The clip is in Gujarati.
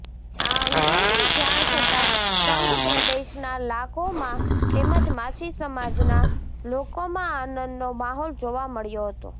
આ અંગેની જાણ થતાં સંઘપ્રદેશના લાકોમાં તેમજ માછી સમાજના લોકોમાં આનંદનો માહોલ જોવા મળ્યો હતો